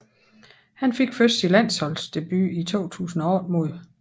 Han fik først sin landsholdsdebut i 2008 mod